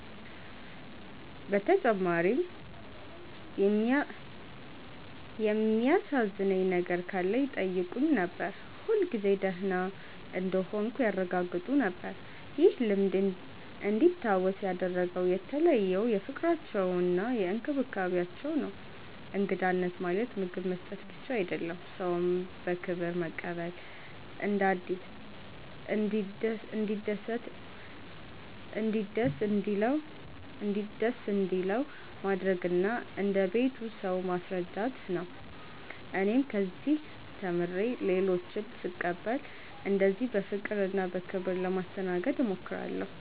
በተጨማሪም የሚያሳዝነኝ ነገር ካለ ይጠይቁኝ ነበር፣ ሁልጊዜ ደህና እንደሆንሁ ያረጋግጡ ነበር። ይህ ልምድ እንዲታወስ ያደረገው የተለየው ፍቅራቸውና እንክብካቤያቸው ነው። እንግዳነት ማለት ምግብ መስጠት ብቻ አይደለም፤ ሰውን በክብር መቀበል፣ እንዲደስ እንዲለው ማድረግ እና እንደ ቤቱ ሰው ማስረዳት ነው። እኔም ከዚህ ተምሬ ሌሎችን ስቀበል እንደዚህ በፍቅርና በክብር ለማስተናገድ እሞክራለሁ።